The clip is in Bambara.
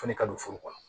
Fana ka don furu kɔnɔ